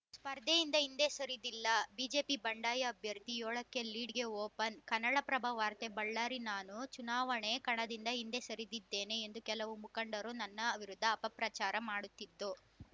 ಸ್ಪರ್ಧೆಯಿಂದ ಹಿಂದೆ ಸರಿದಿಲ್ಲ ಬಿಜೆಪಿ ಬಂಡಾಯ ಅಭ್ಯರ್ಥಿ ಏಳ ಕ್ಕೆ ಲೀಡ್‌ಗೆ ಓಪನ್‌ ಕನ್ನಡಪ್ರಭ ವಾರ್ತೆ ಬಳ್ಳಾರಿ ನಾನು ಚುನಾವಣೆ ಕಣದಿಂದ ಹಿಂದೆ ಸರಿದಿದ್ದೇನೆ ಎಂದು ಕೆಲವು ಮುಖಂಡರು ನನ್ನ ಅವಿರುದ್ಧ ಅಪ ಪ್ರಚಾರ ಮಾಡುತ್ತಿದ್ದು